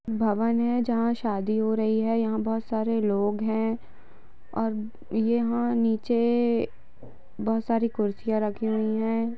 भवन है जहां शादी हो रही है और यहाँ बहुत सारे लोग है और यहाँ नीचे बहुत सारी कुर्सियां रखी हुई है।